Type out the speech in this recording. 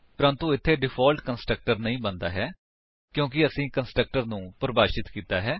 ਪਰੰਤੂ ਇੱਥੇ default constructor ਨਹੀਂ ਬਣਦਾ ਹੈ ਕਿਉਂਕਿ ਅਸੀਂ ਕੰਸਟਰਕਟਰ ਨੂੰ ਪਰਿਭਾਸ਼ਿਤ ਕੀਤਾ ਹੈ